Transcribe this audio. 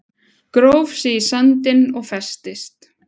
Gróf sig í sandinn og festist